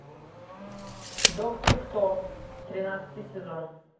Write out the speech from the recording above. доктор кто тринадцатый сезон